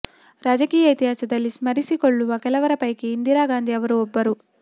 ರಾಜಕೀಯ ಇತಿಹಾಸದಲ್ಲಿ ಸ್ಮರಿಸಿಕೊಳ್ಳುವ ಕೆಲವರ ಪೈಕಿ ಇಂದಿರಾ ಗಾಂಧಿ ಅವರು ಒಬ್ಬರು